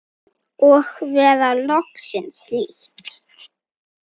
Og vera loksins hlýtt!!